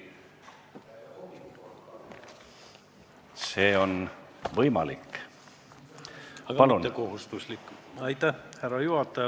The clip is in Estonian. Härra juhataja!